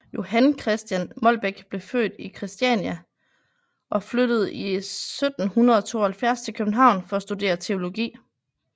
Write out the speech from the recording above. Johan Christian Molbech blev født i Kristiania og flyttede 1772 til København for at studere teologi